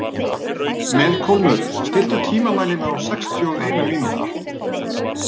Melkólmur, stilltu tímamælinn á sextíu og eina mínútur.